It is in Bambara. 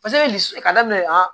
Paseke li ka daminɛ